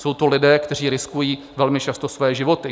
Jsou to lidé, kteří riskují velmi často své životy.